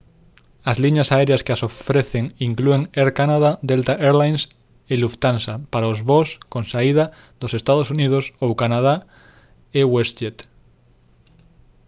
as liñas aéreas que as ofrecen inclúen air canada delta air lines e lufthansa para os voos con saída dos ee uu ou canadá e westjet